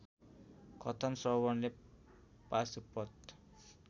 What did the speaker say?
कथन श्रवणले पाशुपत